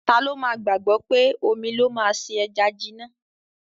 Tá ló má gbágbọ pé omí ló má ṣe ejá jìnà